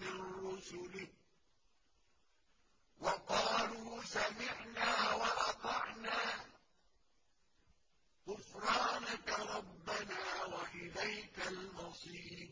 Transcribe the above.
مِّن رُّسُلِهِ ۚ وَقَالُوا سَمِعْنَا وَأَطَعْنَا ۖ غُفْرَانَكَ رَبَّنَا وَإِلَيْكَ الْمَصِيرُ